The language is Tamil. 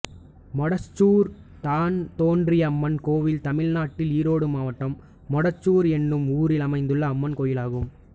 மொடச்சூர் தான்தோன்றியம்மன் கோயில் தமிழ்நாட்டில் ஈரோடு மாவட்டம் மொடச்சூர் என்னும் ஊரில் அமைந்துள்ள அம்மன் கோயிலாகும்